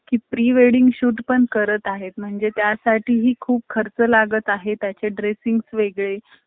की pre - wedding shoot पण करत आहेत. म्हणजे त्या साठीही खूप खर्च लागत आहे. त्याचे dressing वेगळे